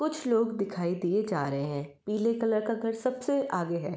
कुछ लोग दिखाई दिए जा रहे हैं। पीले कलर का घर सबसे आगे है।